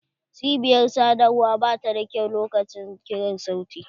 Cibiyar sadarwa ba ta da kyau lokacin ƙirar sauti.